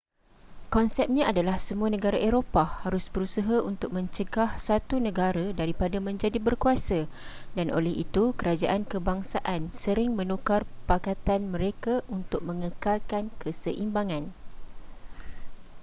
konsepnya adalah semua negara eropah harus berusaha untuk mencegah satu negara daripada menjadi berkuasa dan oleh itu kerajaan kebangsaan sering menukar pakatan mereka untuk mengekalkan keseimbangan